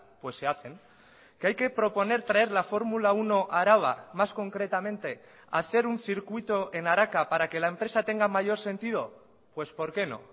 pues se hacen que hay que proponer traer la fórmula uno a araba más concretamente hacer un circuito en araka para que la empresa tenga mayor sentido pues por qué no